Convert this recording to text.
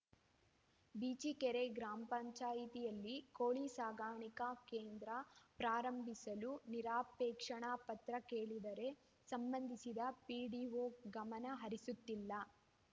ಬಿಜಿಕೆರೆ ಗ್ರಾಮ ಪಂಚಾಯತಿನಲ್ಲಿ ಕೋಳಿ ಸಾಕಣಿಕಾ ಕೇಂದ್ರ ಪ್ರಾರಂಭಿಸಲು ನಿರಾಕ್ಷೇಪಣಾ ಪತ್ರ ಕೇಳಿದರೆ ಸಂಬಂಧಿಸಿದ ಪಿಡಿಒ ಗಮನ ಹರಿಸುತ್ತಿಲ್ಲ